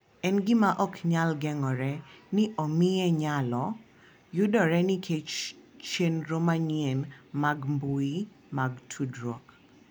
En gima ok nyal geng’ore ni omiye nyalo yudore nikech chenro manyien mag mbui mag tudruok.